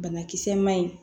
Banakisɛ ma ɲi